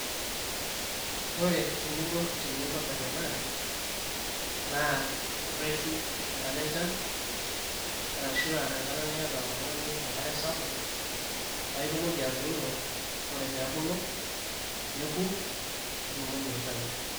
ore eninko tenintobirr ena naa irreshu enkata enchan arashu aa enkata niata oltung'ani enkare sapuk paa itumoki atuuno ore pee ebulu neku nitumoki aitayu.